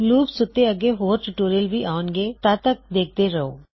loops ਉੱਤੇ ਅੱਗੇ ਹੋਰ ਟਿਊਟੋਰਿਯਲਜ ਵੀ ਆਉਣਗੇ ਤਦ ਤੱਕ ਦੇਖਦੇ ਰਹੋ